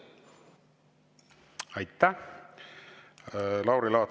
Aitäh, Lauri Laats!